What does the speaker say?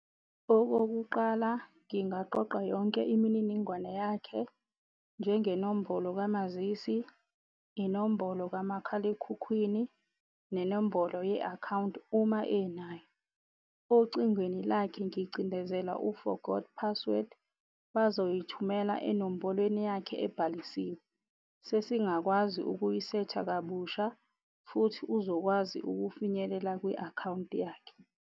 Okokuqala ngingaqoqa yonke imininingwane yakhe. Njengenombolo kamazisi, inombolo kamakhalekhukhwini nenombolo ye-akhawunti uma enayo. Ocingweni lakhe ngicindezela u-forgot password, bazoyithumela enombolweni yakhe ebhalisiwe. Sesingakwazi ukuyisetha kabusha futhi uzokwazi ukufinyelela kwi-akhawunti yakhe.